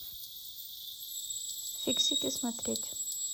фиксики смотреть